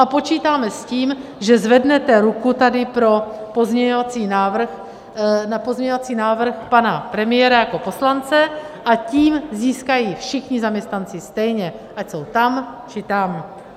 A počítáme s tím, že zvednete ruku tady na pozměňovací návrh pana premiéra jako poslance, a tím získají všichni zaměstnanci stejně, ať jsou tam, či tam.